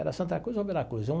Era Santa Cruz ou Veracruz? É um.